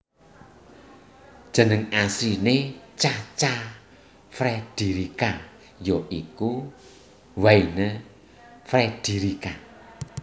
Jeneng asline Cha Cha Frederica ya iku Wynne Frederica